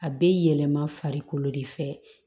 A bɛ yɛlɛma farikolo de fɛ